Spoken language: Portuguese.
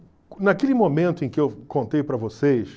naquele momento em que eu contei para vocês,